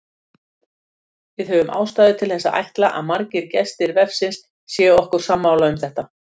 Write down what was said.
Við höfum ástæðu til að ætla að margir gestir vefsins séu okkur sammála um þetta.